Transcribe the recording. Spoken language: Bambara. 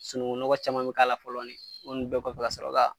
Sunungunɔgɔ caman min k'a la fɔlɔ de o ko ni bɛɛ kɔfɛ ka sɔrɔ ka